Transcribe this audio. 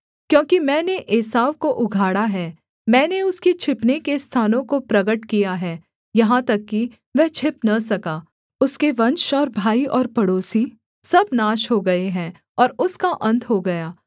क्योंकि मैंने एसाव को उघाड़ा है मैंने उसके छिपने के स्थानों को प्रगट किया है यहाँ तक कि वह छिप न सका उसके वंश और भाई और पड़ोसी सब नाश हो गए हैं और उसका अन्त हो गया